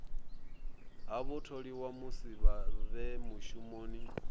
ha vhatholiwa musi vhe mushumoni